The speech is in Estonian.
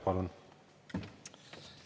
Palun!